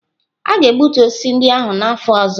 A ga-egbutu osisi ndị ahụ n'afọ ọzọ.